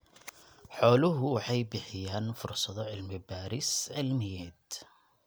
Xooluhu waxay bixiyaan fursado cilmi-baadhis cilmiyeed.